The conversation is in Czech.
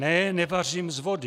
Ne, nevařím z vody.